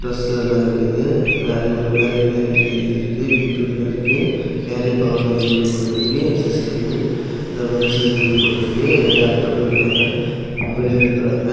Dress எல்லா இருக்குது value value வெரைட்டின்னு சொல்லி எழுதிருக்கு வி டு னு இருக்கு கேரியர் பவர்னு சொல்லி ஒரு போர்டு வச்சிருக்கு எஸ்_எஸ்_சி னு மென்ஸ் இதுன்னு போட்டு இருக்கு நிறைய ஆட்கள் இருக்காங்க பொம்பளையு இருக்காங்க.